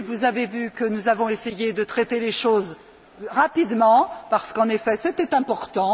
Vous avez vu que nous avons essayé de traiter les choses rapidement parce qu'en effet, c'était important.